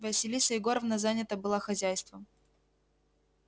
василиса егоровна занята была хозяйством